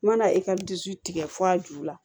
N mana e ka dusu tigɛ fo a ju la